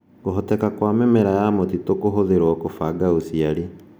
Kũhoteka kwa mĩmera ya mũtitũ kũhũthĩrũo kũbanga ũciari